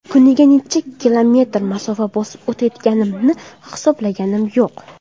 Kuniga necha kilometr masofa bosib o‘tayotganimni hisoblaganim yo‘q.